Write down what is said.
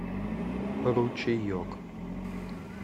ручеек